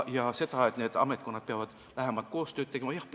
Kas need ametkonnad peavad lähemat koostööd tegema?